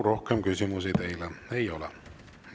Rohkem küsimusi teile ei ole.